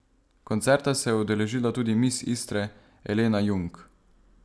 Koncerta se je udeležila tudi miss Istre Elena Jung.